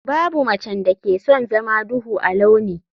Babu macen da ke son zama duhu a launi.